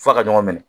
F'a ka ɲɔgɔn minɛ